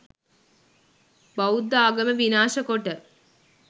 බෞද්ධ ආගම විනාශ කොට